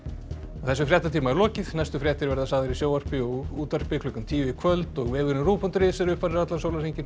þessum fréttatíma er lokið næstu fréttir verða sagðar í sjónvarpi og útvarpi klukkan tíu í kvöld og vefurinn rúv punktur is er uppfærður allan sólarhringinn